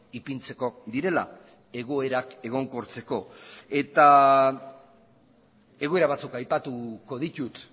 ipintzeko direla egoerak egonkortzeko eta egoera batzuk aipatuko ditut